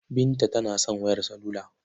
Binta tana son wayar salula.